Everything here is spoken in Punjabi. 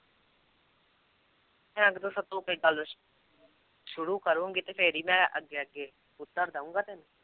ਸ਼ੁਰੂ ਕਰੇਂਗੀ ਤੇ ਫਿਰ ਹੀ ਮੈਂ ਅੱਗੇ ਅੱਗੇ ਉੱਤਰ ਦਊਂਗਾ ਤੈਨੂੰ।